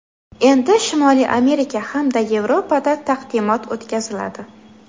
Endi Shimoliy Amerika hamda Yevropada taqdimot o‘tkaziladi.